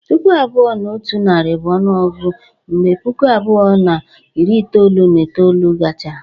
Puku abụọ na otu nari bụ onuogugu mgbe Puku abụọ na iri itoolu na itoolu gachara.